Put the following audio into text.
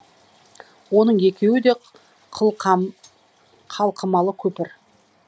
оның екеуі де қылқа қалқымалы көпір